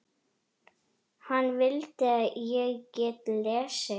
Hana vildi ég geta lesið.